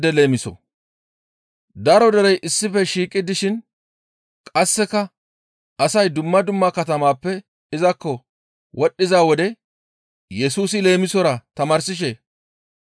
Daro derey issife shiiqi dishin qasseka asay dumma dumma katamappe izakko wodhdhiza wode Yesusi leemisora tamaarsishe,